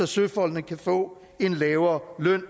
søfolkene kan få en lavere løn